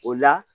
O la